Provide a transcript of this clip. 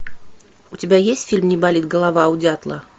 у тебя есть фильм не болит голова у дятла